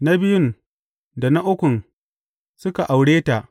Na biyun, da na ukun suka aure ta.